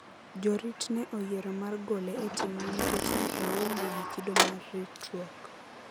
Jorit ne oyiero mar gole e timno nikech ne oonge gi kido mar ritruok.